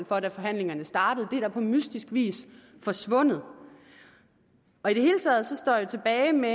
for da forhandlingerne startede men det er på mystisk vis forsvundet i det hele taget står jeg tilbage med